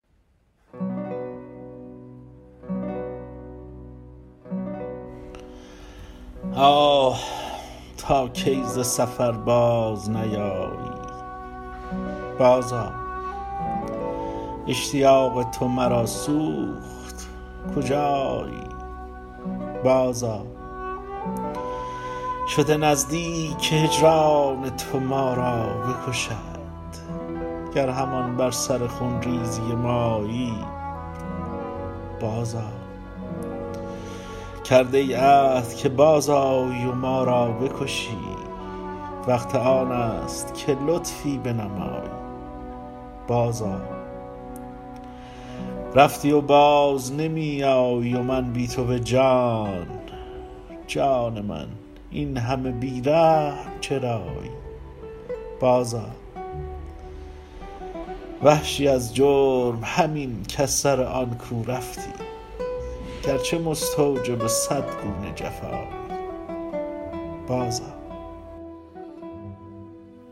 آه تا کی ز سفر باز نیایی بازآ اشتیاق تو مرا سوخت کجایی بازآ شده نزدیک که هجران تو ما را بکشد گر همان بر سر خونریزی مایی بازآ کرده ای عهد که بازآیی و ما را بکشی وقت آنست که لطفی بنمایی بازآ رفتی و باز نمی آیی و من بی تو به جان جان من اینهمه بی رحم چرایی بازآ وحشی از جرم همین کز سر آن کو رفتی گرچه مستوجب صد گونه جفایی بازآ